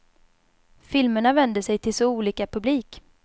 Filmerna vänder sig till så olika publik.